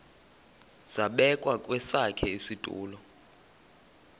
zabekwa kwesakhe isitulo